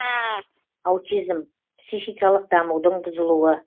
аутизм психикалық дамудың бұзылуы